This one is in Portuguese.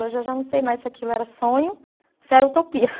Hoje, eu já não sei mais se aquilo era sonho ou se era utopia.